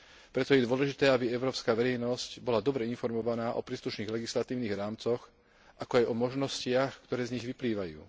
Preto je dôležité, aby európska verejnosť bola dobre informovaná o príslušných legislatívnych rámcoch, ako aj o možnostiach, ktoré z nich vyplývajú.